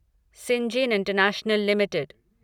Syngene international limited